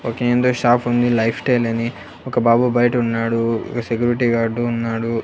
Okay ఏందో షాపుంది Lifestyle అని ఒక బాబు బయట ఉన్నాడు ఒక సెక్యూరిటీ గార్డు ఉన్నాడు.